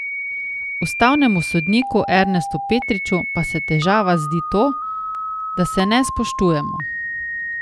Ustavnemu sodniku Ernestu Petriču pa se težava zdi to, da se ne spoštujemo.